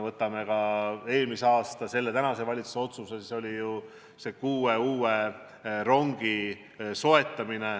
Võtame kas või eelmise aasta otsuse, mille tänane valitsus tegi – otsustati soetada kuus uut rongi.